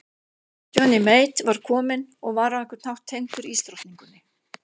Johnny Mate var kominn og var á einhvern hátt tengdur ísdrottningunni.